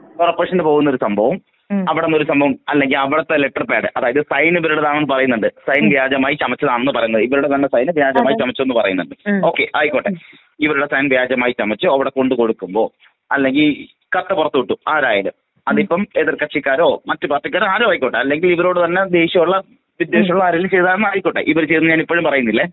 കോർപ്പറേഷനില് ഒരു ഇത് ആയിട്ടാണ് ഇത് പോവുന്നത്.കോർപ്പറേഷനില് പൊവുന്നൊരു സംഭവം അവിടം ഒരു സംഭവം അല്ലെങ്കിൽ അവിടത്തെ ലെറ്റർ പാഡ് അതായത് സൈന് ഇവരുടേതാണെന്ന് പറയുന്നുണ്ട്.സൈൻ വ്യാജമായി ചമച്ചതാണെന്ന് പറയുന്നുണ്ട്.ഇവരുടേതന്നെ സൈൻ വ്യാജമായി ചമച്ചെന്ന് പറയുന്നുണ്ട് ഓകെ ആയിക്കൊട്ടെ, ഇവരുടെസൈൻ വ്യാജമായി ചമച്ചു അവടെ കൊണ്ട് കൊടുക്കുമ്പൊ, അല്ലെങ്കിൽ കത്ത് പുറത്ത് വിട്ടു.ആരായാലും. അതിപ്പം എതിർ കക്ഷിക്കാരൊ ,മറ്റ് പാർട്ടിക്കാരൊ ആരൊ ആയിക്കോട്ടെ അല്ലെങ്കിൽ ഇവരോട് തന്നെ ദേഷ്യം ഉള്ള വിദ്യോഷികളൊ ആരെങ്കിലും ചെയ്തതോ ആയിക്കോട്ടെ ഇവര് ചെയ്തതാണെന്ന് ഞാനിപ്പഴും പറയുന്നില്ല.